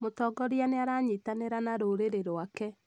Mũtongoria nĩaranyitanĩra na rũrĩrĩ rwake